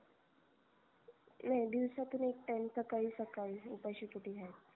नाही दिवसातून एक time सकाळी सकाळी उपाशी पोटी घ्यायच